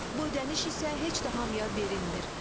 Bu ödəniş isə heç də hamıya verilmir.